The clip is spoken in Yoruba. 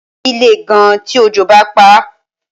Símẹ́ǹtì yìí lè gan tí òjò bá paá